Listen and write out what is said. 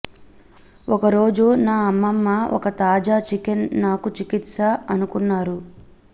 ఒకరోజు నా అమ్మమ్మ ఒక తాజా చికెన్ నాకు చికిత్స అనుకున్నారు